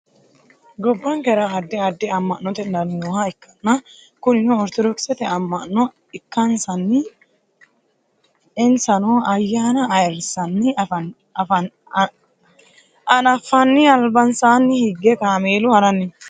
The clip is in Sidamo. gobbankera addi additi amma'note dani nooha ikkanna kunino ortodokisete amma'no ikkansanna insano ayyaana ayeerrissanna anafanni albansaani hige kameelu haranni no